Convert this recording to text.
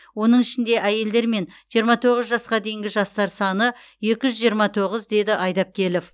оның ішінде әйелдер мен жиырма тоғыз жасқа дейінгі жастар саны екі жүз жиырма тоғыз деді айдапкелов